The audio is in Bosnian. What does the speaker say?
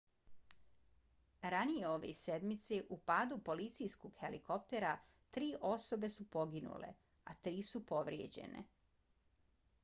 ranije ove sedmice u padu policijskog helikoptera tri osobe su poginule a tri su povrijeđene